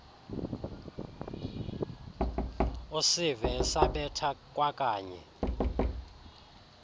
usive esabetha kwakanye